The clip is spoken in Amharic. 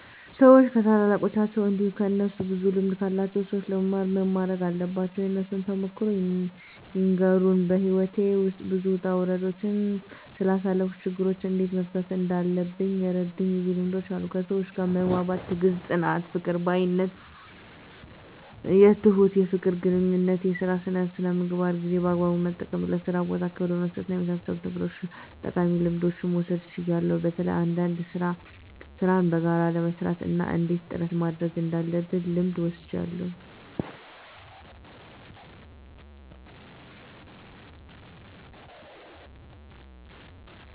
ሰዎች ከታላላቃቸው እንዲሁም ከእነሱ ብዙ ልምድ ካላቸው ሰዎች ለመማር ምን ማረግ አለባቸው? የእርሶን ተሞክሮ ይንገሩን? *በሕይወቴ ውስጥ ብዙ ውጣ ውረዶችን ስላሳለፍኩ፣ ችግሮችን እንዴት መፍታት እንዳለብኝ የረዱኝ ብዙ ልምዶች አሉ፤ ከሰዎች ጋር መግባባት፣ ትዕግስት፣ ጽናት፣ ይቅር ባይነት፣ ትሁት፣ የፍቅር ግንኙነት፣ የሥራ ሥነ ምግባር፣ ጊዜን በአግባቡ መጠቀም፣ ለሥራ ቦታ ክብር በመስጠትና በመሳሰሉት ነገሮች ጠቃሚ ልምዶችን መውሰድ ችያለሁ። በተለይ አንዳንድ ሥራን በጋራ ለመሥራት እና እንዴት ጥረት ማድረግ እንዳለብ ልምድ ወስጃለሁ።